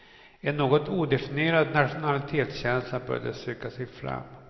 En något odefinierad nationalitetskänsla börjar söka sig fram.